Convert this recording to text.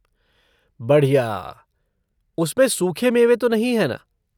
बढ़िया! उसमें सूखे मेवे तो नहीं है ना?